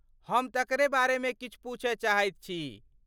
हम तकरे बारेमे किछु पूछय चाहैत छी।